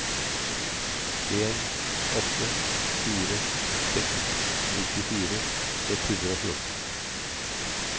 en åtte fire seks nittifire ett hundre og fjorten